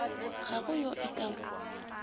ga go yo e ka